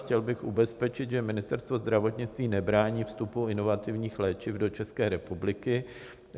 Chtěl bych ubezpečit, že Ministerstvo zdravotnictví nebrání vstupu inovativních léčiv do České republiky.